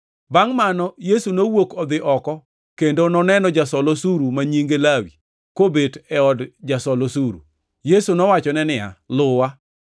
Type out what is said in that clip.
Bangʼ mano, Yesu nowuok odhi oko kendo noneno jasol osuru ma nyinge Lawi kobet e od jasol osuru. Yesu nowachone niya, “Luwa.”